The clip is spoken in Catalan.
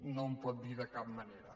no ho pot dir de cap manera